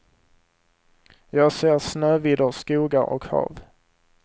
Jag ser snövidder, skogar och hav.